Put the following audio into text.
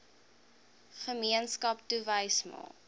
gemeenskap touwys maak